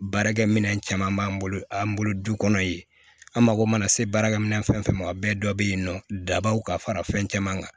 Baarakɛ minɛn caman b'an bolo an bolo du kɔnɔ yen an mago mana se baarakɛminɛn fɛn fɛn ma o bɛɛ dɔ bɛ yen nɔ dabaw ka fara fɛn caman kan